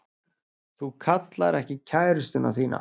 Þú kallar ekki kærustuna þína.